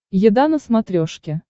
еда на смотрешке